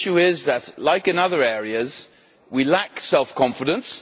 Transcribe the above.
the issue is that, as in other areas, we lack self confidence.